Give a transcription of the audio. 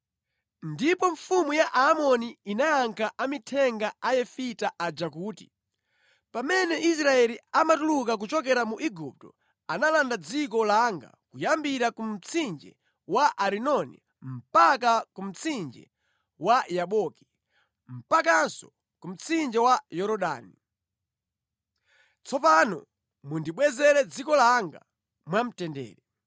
Ndipo mfumu ya Aamoni inayankha amithenga a Yefita aja kuti, “Pamene Israeli amatuluka kuchokera mu Igupto, analanda dziko langa kuyambira ku mtsinje wa Arinoni mpaka ku mtsinje wa Yaboki mpakanso ku mtsinje wa Yorodani. Tsopano mundibwezere dziko langa mwamtendere.”